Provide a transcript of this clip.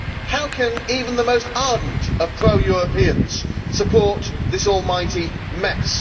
How can even the most ardent of pro Europeans support this almighty mess?